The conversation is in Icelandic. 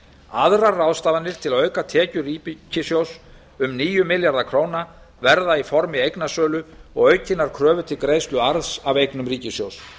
aðrar ráðstafanir til að auka tekjur ríkissjóðs um níu milljarða króna verða í formi eignasölu og aukinnar kröfu til greiðslu arðs af eignum ríkissjóðs